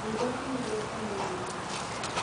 Thundo cihũrĩte mwĩrĩ-inĩwake.